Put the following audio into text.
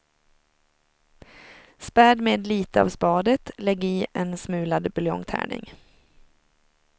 Späd med lite av spadet, lägg i en smulad buljongtärning.